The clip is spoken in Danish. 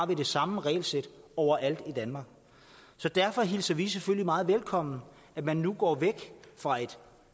det samme regelsæt overalt i danmark så derfor hilser vi selvfølgelig meget velkommen at man nu går væk fra et